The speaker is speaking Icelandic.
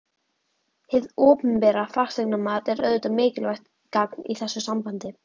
Hið opinbera fasteignamat er auðvitað mikilvægt gagn í þessu sambandi.